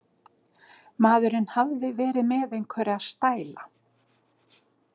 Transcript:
Maðurinn hafði verið með einhverja „stæla“.